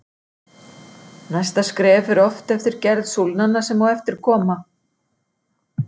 Næsta skref fer oft eftir gerð súlnanna sem á eftir koma.